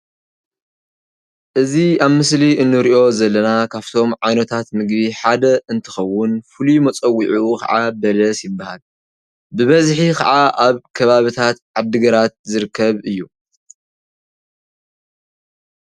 እዚ ኣብ ምስሊ እንሪኦ ዘለና ካፍቶም ዓይነታት ምግቢ ሓደ እንትከዉን ፉሉይ መፀዉዒኡ ከዓ በለስ ይብሃል። ብበዝሒ ከዓ ኣብ ከባብታት ዓዲግራት ዝርከብ እዩ።